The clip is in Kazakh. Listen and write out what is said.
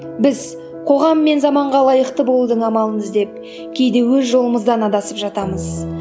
біз қоғам мен заманға лайықты болудың амалын іздеп кейде өз жолымыздан адасып жатамыз